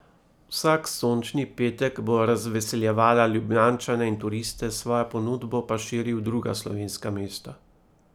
Vsak sončni petek bo razveseljevala Ljubljančane in turiste, svojo ponudbo pa širi v druga slovenska mesta.